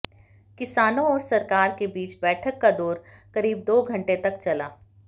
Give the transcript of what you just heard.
किसानों और सरकार के बीच बैठक का दौर करीब दो घंटे तक चला